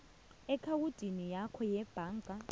eakhawundini yakho yebhanga